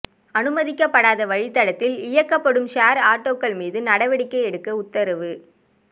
அனுமதிக்கப்படாத வழித் தடத்தில் இயக்கப்படும் ஷோ் ஆட்டோக்கள் மீது நடவடிக்கை எடுக்க உத்தரவு